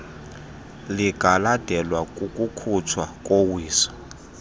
lingalandelwa kukukhutshwa kowiso